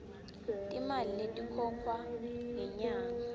timali letikhokhwa ngenyanga